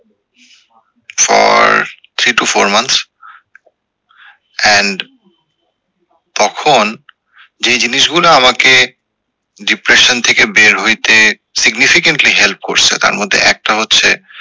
for three to four month and তখন যেই জিনিস গুলা আমাকে depression থেকে বের হইতে significantly help করস এ তার মধ্যে একটা হচ্ছে